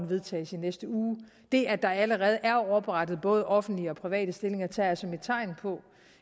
vedtages i næste uge det at der allerede er oprettet både offentlige og private stillinger tager jeg som et tegn på